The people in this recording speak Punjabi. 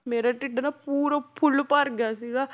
ਮੇਰਾ ਢਿੱਡ ਨਾ ਪੂਰਾ ਫੁੱਲ ਭਰ ਗਿਆ ਸੀਗਾ।